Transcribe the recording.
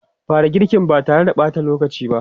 Fara girkin ba tare da ɓata lokaci ba!